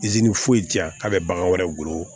foyi ti yan k'a bɛ bagan wɛrɛ golo